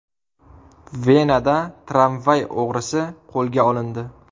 Venada tramvay o‘g‘risi qo‘lga olindi.